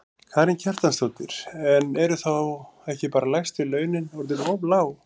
Karen Kjartansdóttir: En eru þá ekki bara lægstu launin orðin of lág?